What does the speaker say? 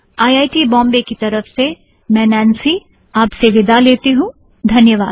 I I T Bambai की तरफ से मैं नैंसी आप से विदा लेती हूँ धन्यवाद